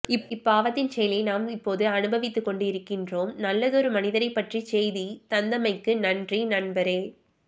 இப்பாவத்தின் செயலை நாம் இப்போது அனுபவித்துக் கொண்டு இருக்கின்றோம் நல்லதொரு மனிதரைப்பற்றி செய்தி தந்தமைக்கு நன்றி நண்பரே